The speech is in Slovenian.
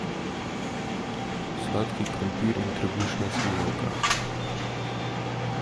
Sladki krompir in trebušna slinavka.